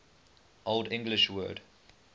old english word